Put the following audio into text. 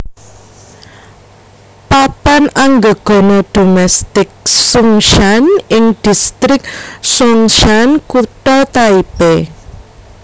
Papan Anggegana Domestik Sungshan ing Distrik Songshan Kutha Taipei